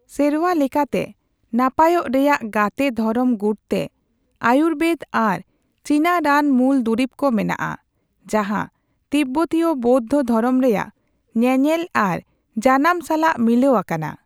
ᱥᱮᱨᱣᱟ ᱞᱮᱠᱟᱛᱮ ᱱᱟᱯᱟᱭᱚᱜ ᱨᱮᱭᱟᱜ ᱜᱟᱛᱮ ᱫᱷᱚᱨᱚᱢ ᱜᱩᱴᱛᱮ ᱟᱭᱩᱨᱵᱮᱫ ᱟᱨ ᱪᱤᱱᱟ ᱨᱟᱱ ᱢᱩᱞ ᱫᱩᱨᱤᱵ ᱠᱚ ᱢᱮᱱᱟᱜᱼᱟ, ᱡᱟᱦᱟᱸ ᱛᱤᱵᱵᱚᱛᱤᱭᱚ ᱵᱳᱭᱫᱷᱚ ᱫᱷᱚᱨᱚᱢ ᱨᱮᱭᱟᱜ ᱧᱮᱧᱮᱞ ᱟᱨ ᱡᱟᱱᱟᱢ ᱥᱟᱞᱟᱜ ᱢᱤᱞᱟᱹᱣ ᱟᱠᱟᱱᱟ ᱾